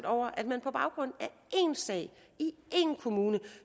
over at man på baggrund af én sag i én kommune